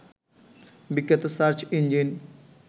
বিখ্যাত search engine